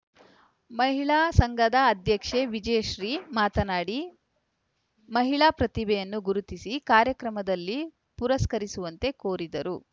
ಮಹಿಳಾ ಸಂಘದ ಅಧ್ಯಕ್ಷೆ ವಿಜಯಶ್ರೀ ಮಾತನಾಡಿಮಹಿಳಾ ಪ್ರತಿಭೆಯನ್ನು ಗುರುತಿಸಿ ಕಾರ್ಯಕ್ರಮದಲ್ಲಿ ಪುರಸ್ಕರಿಸುವಂತೆ ಕೋರಿದರು